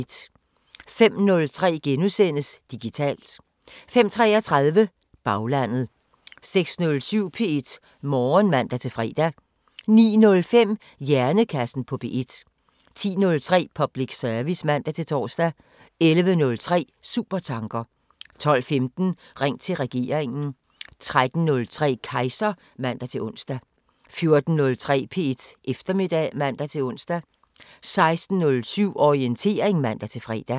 05:03: Digitalt * 05:33: Baglandet 06:07: P1 Morgen (man-fre) 09:05: Hjernekassen på P1 10:03: Public service (man-tor) 11:03: Supertanker 12:15: Ring til regeringen 13:03: Kejser (man-ons) 14:03: P1 Eftermiddag (man-ons) 16:07: Orientering (man-fre)